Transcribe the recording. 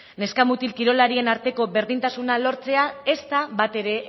neska mutil kirolarien arteko berdintasuna ez da batere